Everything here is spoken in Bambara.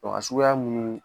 a suguya mun ye.